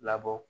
Labɔ